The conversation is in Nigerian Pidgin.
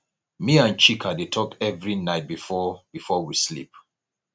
me and chika dey talk every night before before we sleep